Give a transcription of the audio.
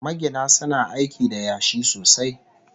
Magina suna aiki da yashi sosai